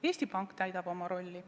Eesti Pank täidab oma rolli.